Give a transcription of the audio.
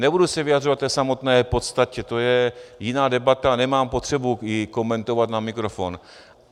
Nebudu se vyjadřovat k té samotné podstatě, to je jiná debata, nemám potřebu ji komentovat na mikrofon.